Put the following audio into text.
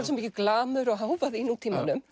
svo mikið glamur og hávaði í nútímanum